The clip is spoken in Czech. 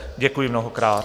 Děkuji mnohokrát.